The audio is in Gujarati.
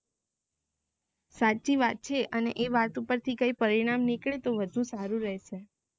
સાચી વાત છે અને એ વાત ઉપરથી કઈ પરિણામ નીકળે ને વધુ સારું રેહસે